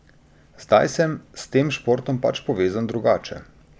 Zdaj sem s tem športom pač povezan drugače.